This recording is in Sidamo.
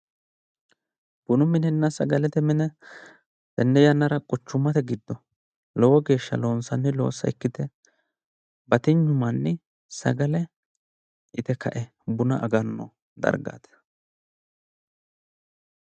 Bunu minenna sagalete mine tenne yannara quchummate giddo lowo geeshsha loonsanni loossa ikkite batinyu manni sagale ite kae buna aganno dargaati